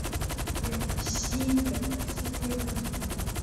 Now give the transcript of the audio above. ефросинья васильевна дюбина